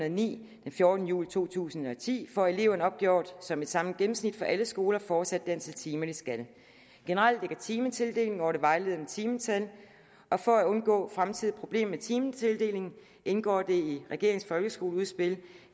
og ni den fjortende juli to tusind og ti får eleverne opgjort som et samlet gennemsnit for alle skoler fortsat det antal timer de skal generelt ligger timetildelingen over det vejledende timetal og for at undgå fremtidige problemer med timetildelingen indgår det i regeringens folkeskoleudspil